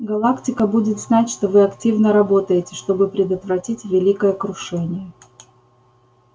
галактика будет знать что вы активно работаете чтобы предотвратить великое крушение